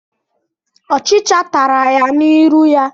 Ọchicha tara ya n'irụ ya.